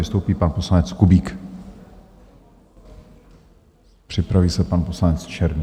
Vystoupí pan poslanec Kubík, připraví se pan poslanec Černý.